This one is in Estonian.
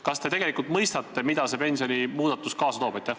Kas te tegelikult mõistate, mida see pensionimuudatus endaga kaasa toob?